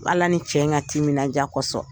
Ala ni cɛ ka timinandiya kɔsɔn.